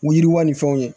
Wo yiriwa ni fɛnw ye